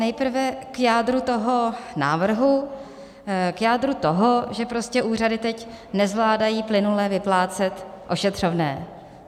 Nejprve k jádru toho návrhu, k jádru toho, že úřady teď nezvládají plynule vyplácet ošetřovné.